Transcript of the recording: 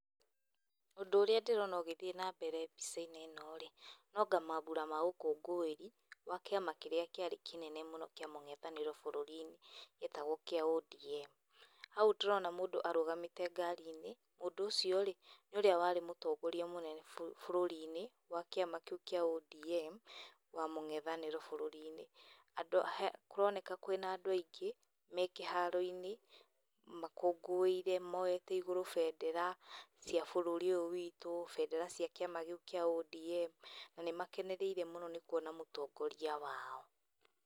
Ũndũ ũrĩa ndĩrona ũgĩthiĩ na mbere mbica-inĩ ĩno-rĩ, no anga mambũra ma ũkũngũĩri ma kĩama kĩrĩa kĩarĩ kĩnene mũno bũrũri-inĩ, gĩetagwo kĩa ODM. Hau ndĩrona mũndũ arũgamĩte ngari-inĩ, mũndũ ũcio-rĩ, nĩ ũrĩa warĩ mũtongoria mũnene bũrũri-inĩ wa kĩama kĩu kĩa ODM wa mũngethanĩro bũrũri-inĩ. Andũ kũroneka kwĩna andũ aingĩ, me kĩharo-inĩ makũngũĩire, moete igũrũ bendera cia bũrũri ũyũ witũ, bendera cia kĩama kĩu kĩa ODM, na nĩmakenereire mũno nĩ kuona mũtongoria wao.